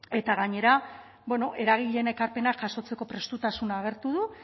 eta gainera bueno eragileen ekarpenak jasotzeko prestutasuna agertu du